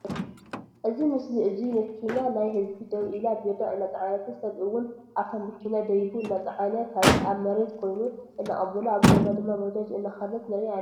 እዚ ምስሊ እዙይ መኪና ናይ ሕዝቢ ደዉ ኢላ ቢራ እናፀዓንት ስብ እዉን ኣብታ ምኪና ደይቡ እናፀዓነ ካሊእ ኣብ ምርየት ኮይኒ እናቀበሎ ኣብ ጎና ድማ ባጃጅ እናከደት ንርኢ ኣልና።